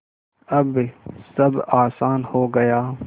अब सब आसान हो गया